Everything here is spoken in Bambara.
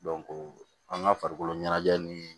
an ka farikoloɲɛnajɛ ni